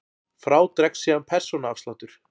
Frá dregst síðan persónuafsláttur.